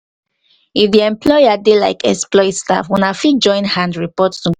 if di employer dey like exploit staff una fit join hand report to government